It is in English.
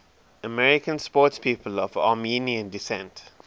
american sportspeople of armenian descent